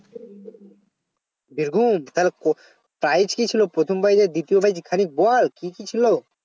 birbhum তাহলে ক prize কি ছিল প্রথম টা কে দ্বিতীয় টা কে এখানে বল কি কি ছিল